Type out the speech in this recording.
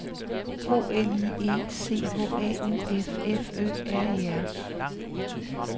O L I E C H A U F F Ø R E R